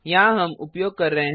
यहाँ हम उपयोग कर रहे हैं